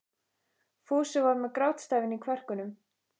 Fúsi var með grátstafinn í kverkunum.